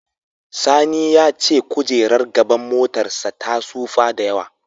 Sani ya ce kojerar gaban motarsa ta tsufa sosai.